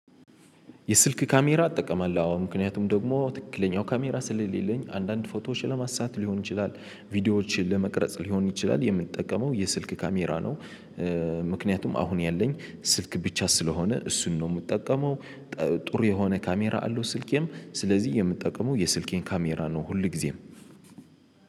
የስልክ ካሜራ እጠቀማለሁ አዎ ምክንያቱም ደግሞ ትክክለኛው ካሜራ ስለሌለኝ አንዳንድ ፎቶዎች ለማሳት ሊሆን ይችላል ቪዲዮዎችን ለመቅረጽ ሊሆን ይችላል የምንጠቀመው የስልክ ካሜራ ነው። ምክንያቱም አሁን ያለኝ ስልክ ብቻ ስለሆነ እሱን ነው የምጠቀመው። ጥሩ የሆነ ካሜራ አለው ስልኬም ስለዚህ የምጠቀመው የስልኬን ካሜራ ነው ሁልጊዜም።